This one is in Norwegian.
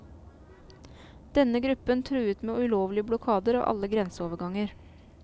Denne gruppen truet med ulovlige blokader av alle grenseoverganger.